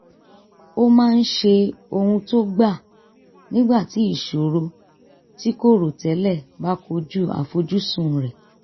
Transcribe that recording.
ó máa ń ṣe ohun tó gbà nígbà tí ìṣòro tí kò rò tẹ́lẹ̀ bá kojú àfojúsùn rẹ̀